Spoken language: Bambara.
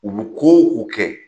U bu ko o ko kɛ